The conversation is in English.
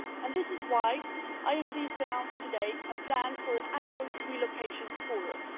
This is why I am pleased to announce today a plan for an annual relocation forum.